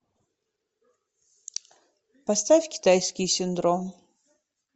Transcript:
поставь китайский синдром